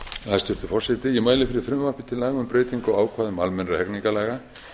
hæstvirtur forseti ég mæli fyrir frumvarpi til laga um breytingu á ákvæðum almennra hegningarlaga